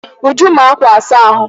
Uju maa ákwà asa ahụ.